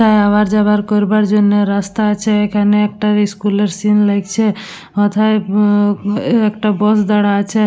Hour যাবার করবার জন্য রাস্তায় আছে। এখানে একটা ইস্কুলের সিন লাগছে ওথায় অউম উ একটা বস দাঁড়া আছে।